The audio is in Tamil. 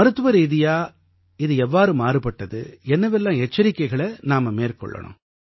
மருத்துவரீதியாக இது எவ்வாறு மாறுபட்டது என்னவெல்லாம் எச்சரிக்கைகளை நாம் மேற்கொள்ளணும்